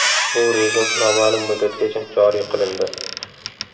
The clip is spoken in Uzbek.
Bu rejim noma’lum muddatgacha joriy qilindi.